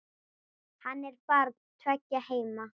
Hann er barn tveggja heima.